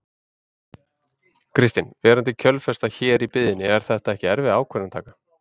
Kristinn: Verandi kjölfestan hér í byggðinni er þetta ekki erfið ákvörðunartaka?